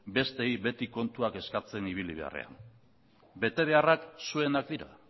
besteei beti kontuan eskatzen ibili beharrean betebeharrak zuenak dira